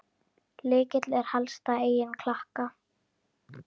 Lykill er helsta eign Klakka.